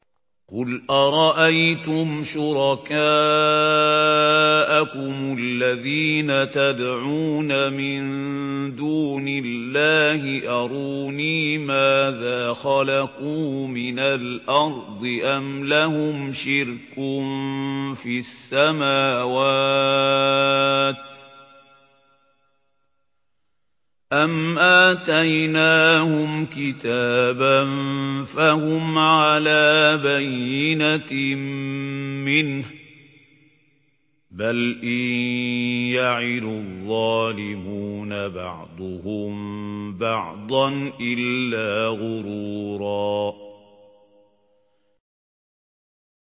قُلْ أَرَأَيْتُمْ شُرَكَاءَكُمُ الَّذِينَ تَدْعُونَ مِن دُونِ اللَّهِ أَرُونِي مَاذَا خَلَقُوا مِنَ الْأَرْضِ أَمْ لَهُمْ شِرْكٌ فِي السَّمَاوَاتِ أَمْ آتَيْنَاهُمْ كِتَابًا فَهُمْ عَلَىٰ بَيِّنَتٍ مِّنْهُ ۚ بَلْ إِن يَعِدُ الظَّالِمُونَ بَعْضُهُم بَعْضًا إِلَّا غُرُورًا